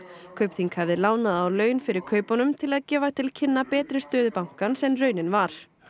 Kaupþing hafði lánað á laun fyrir kaupunum til að gefa til kynna betri stöðu bankans en raunin var